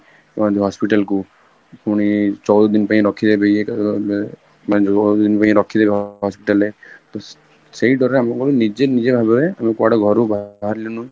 କୁଆଡେ hospital କୁ ପୁଣି ଚଉଦ ଦିନ ପାଇଁ ରହିବେ ବି ମାନେ ଚଉଦ ଦିନ ପାଇଁ ରଖିଦେବେ hospital ରେ ତ ସେଇ ଡର ରେ ଆମେ କଣ ନିଜେ ନିଜେ ଭାବରେ ଆମେ କୁଆଡେ ଘରୁ ବାହାରଲୁନୁ